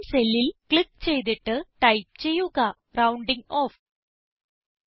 ബ്11 സെല്ലിൽ ക്ലിക്ക് ചെയ്തിട്ട് ടൈപ്പ് ചെയ്യുക റൌണ്ടിങ് ഓഫ്